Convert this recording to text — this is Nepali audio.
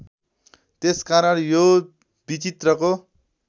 त्यसकारण यो विचित्रको